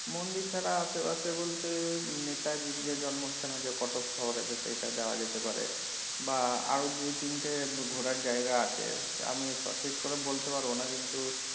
মন্দির ছাড়া আশেপাশে বলতে নেতাজির যে জন্মস্থান আছে কটক শহর আছে সেইটা যাওয়া যেতে পারে বা আরও দুই তিনটে ঘোরার জায়গা আছে আমি সঠিক করে বলতে পারবো না কিন্তু,